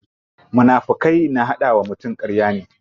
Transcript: Munafukai na hada wa mutum karya ne.